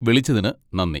വിളിച്ചതിന് നന്ദി.